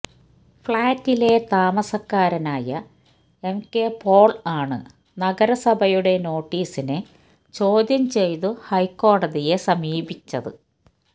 ഫ്ലാറ്റിലെ താമസക്കാരനായ M K Paul ആണ് നഗരസഭയുടെ നോട്ടീസിനെ ചോദ്യം ചെയ്തു ഹൈക്കോടതിയെ സമീപിച്ചത്